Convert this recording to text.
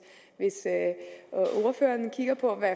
ordføreren kigger på hvad